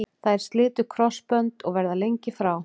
Þær slitu krossbönd og verða lengi frá.